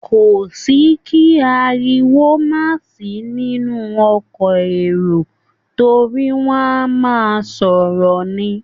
Kò sí kí ariwo má sì í nínú ọkọ̀ èrò torí wọ́n á máa sọ̀rọ̀ ni.